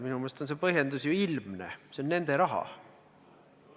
Minu meelest on see põhjendus ilmne: see on nende raha.